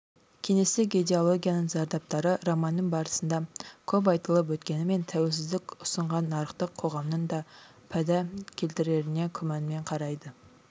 кеңестік идеологияның зардаптары романның барысында көп айтылып өткенімен тәуелсіздік ұсынған нарықтық қоғамның да пайда келтіретініне күмәнмен қарайды